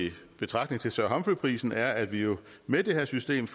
betragtning til sir humphrey prisen er at vi jo med det her system